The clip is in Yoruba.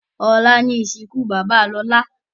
Ọ̀la ni ìsìnkú bàbá Lolá